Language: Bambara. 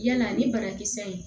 Yala ni banakisɛ in